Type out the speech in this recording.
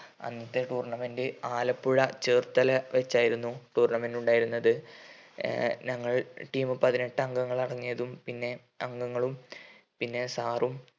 അന്നത്തെ tournament ആലപ്പുഴ ചേർത്തല വെച്ചായിരുന്നു tournament ഉണ്ടായിരുന്നത് ഏർ ഞങ്ങൾ team പതിനെട്ട് അംഗങ്ങൾ അടങ്ങിയതും പിന്നെ അംഗങ്ങളും പിന്നെ sir ഉം